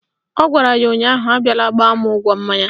Ọ gwara ya ụnyaahụ "Abiala gbaa mụ ụgwọ mmanya"!